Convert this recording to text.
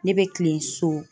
Ne bɛ kilen so.